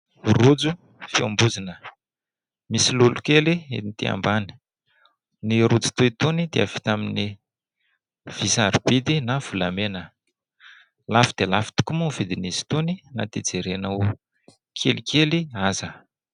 Rojo fiambozona. Misy lolokely ety ambany. Ny rojo toa itony dia vita amin'ny vy sarobidy na volamena. Lafo dia lafo tokoa moa ny vidin'izy itony, na dia jerena ho kelikely aza.